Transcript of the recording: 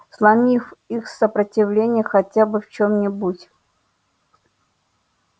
сломив их сопротивление хотя бы в чём-нибудь